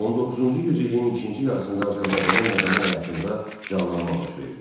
19-cu yüzilin ikinci yarısında Azərbaycanın mədəni həyatında canlanma baş verdi.